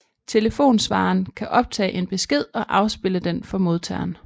Telefonsvareren kan optage en besked og afspille den for modtageren